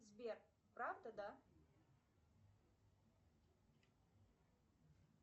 сбер правда да